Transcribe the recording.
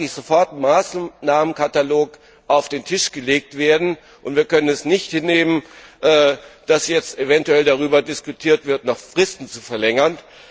Es muss eigentlich sofort ein Maßnahmenkatalog auf den Tisch gelegt werden. Wir können es nicht hinnehmen, dass eventuell darüber diskutiert wird, noch Fristen zu verlängern.